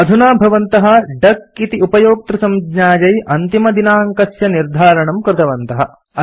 अधुना भवन्तः डक इति उपयोक्तृसंज्ञायै अन्तिमदिनाङ्कस्य निर्धारणं कृतवन्तः